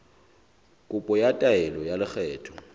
kopo ya taelo ya lekgetho